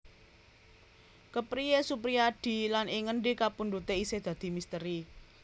Kepriye Suprijadi lan ing ngendi kapundhute isih dadi misteri